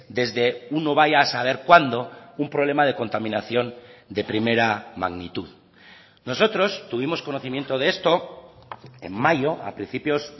desde uno vaya a saber cuándo un problema de contaminación de primera magnitud nosotros tuvimos conocimiento de esto en mayo a principios